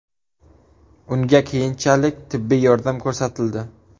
Unga keyinchalik tibbiy yordam ko‘rsatildi.